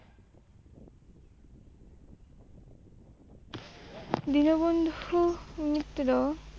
Dinabandhu Mitra